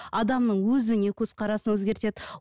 адамның өзіне көзқарасын өзгертеді